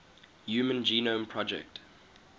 human genome project